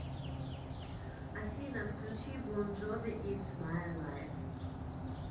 афина включи бон джови итс май лайф